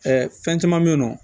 fɛn caman be yen nɔ